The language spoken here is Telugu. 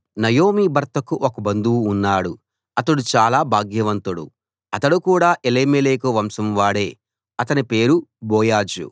నయోమి భర్తకు ఒక బంధువు ఉన్నాడు అతడు చాలా భాగ్యవంతుడు అతడు కూడా ఎలీమెలెకు వంశం వాడే అతని పేరు బోయజు